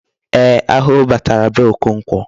Ee, arụrụ batara na be Okonkwo.